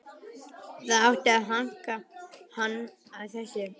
Það átti að hanka hann á þessu.